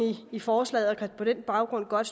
i forslaget og kan på den baggrund godt